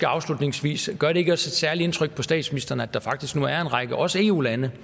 afslutningsvis gør det ikke også et særligt indtryk på statsministeren at der faktisk nu er en række også eu lande